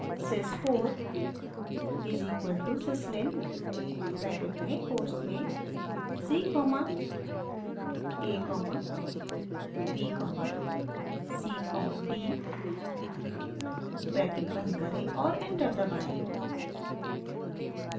sys 4 is equal to syslin bracket में quotes में c comma a comma b comma c comma d bracket बंद करें और enter दबाएं